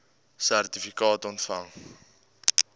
sertifikaat ontvang